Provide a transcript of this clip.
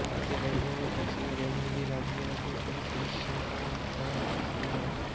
मध्य railway और पश्चिम railway भी राज्य के कुछ हिस्सों को कवर करते हैं